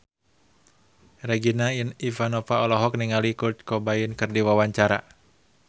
Regina Ivanova olohok ningali Kurt Cobain keur diwawancara